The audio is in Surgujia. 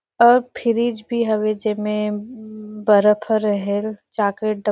और फ्रिज भी हवे जे में बर्फ ह रहेल चॉकलेट डब्बा--